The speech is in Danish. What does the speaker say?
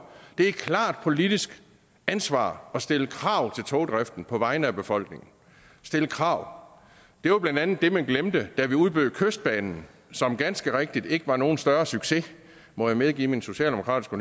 det er et klart politisk ansvar at stille krav til togdriften på vegne af befolkningen stille krav det var blandt andet det man glemte da vi udbød kystbanen som ganske rigtigt ikke var nogen større succes må jeg medgive min socialdemokratiske